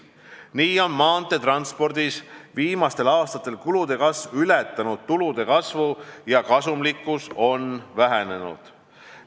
Nii on viimastel aastatel maanteetranspordis kulude kasv ületanud tulude kasvu ja kasumlikkus on vähenenud.